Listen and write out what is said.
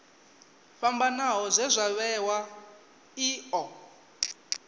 fhambanaho zwe zwa vhewa io